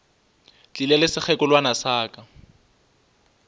tlile le sekgekolwana sa ka